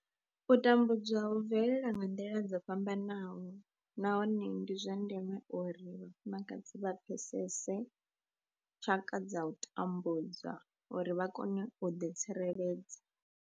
U tambudzwa hu bvelela nga nḓila dzo fhambanaho nahone ndi zwa ndeme uri vhafumakadzi vha pfesese tshaka dza u tambudzwa uri vha kone u ḓi tsireledza.